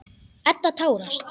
Edda tárast.